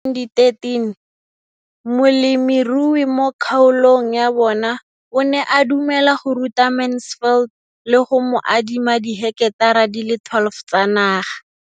Ka ngwaga wa 2013, molemirui mo kgaolong ya bona o ne a dumela go ruta Mansfield le go mo adima di heketara di le 12 tsa naga.